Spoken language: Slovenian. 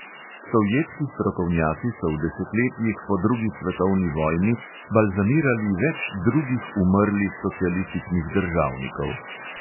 Sovjetski strokovnjaki so v desetletjih po drugi svetovni vojni balzamirali več drugih umrlih socialističnih državnikov.